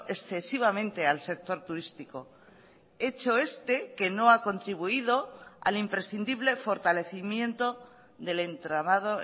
excesivamente al sector turístico hecho este que no ha contribuido al imprescindible fortalecimiento del entramado